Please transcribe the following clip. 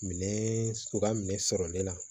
Minɛn sogo minɛ sɔrɔli la